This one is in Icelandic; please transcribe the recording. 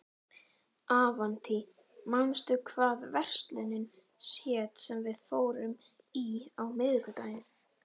Avantí, manstu hvað verslunin hét sem við fórum í á miðvikudaginn?